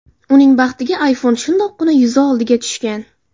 Uning baxtiga iPhone shundoqqina yuzi oldiga tushgan.